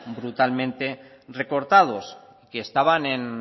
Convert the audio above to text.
brutalmente recortados que estaban en